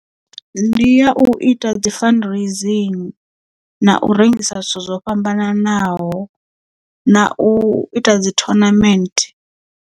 Ndi ya u ita dzi fundraising na u rengisa zwithu zwo fhambananaho na u ita dzi tournament.